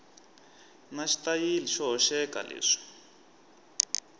na xitayili xo hoxeka leswi